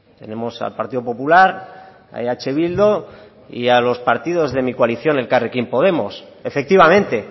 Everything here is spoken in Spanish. tenemos al partido popular a eh bildu y a los partidos de mi coalición elkarrekin podemos efectivamente